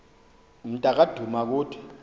mnta ka dumakude